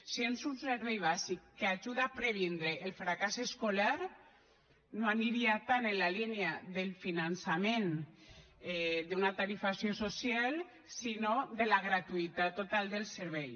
si és un servei bàsic que ajuda a previndre el fracàs escolar no aniria tant en la línia del finançament d’una tarifació social sinó de la gratuïtat total del servei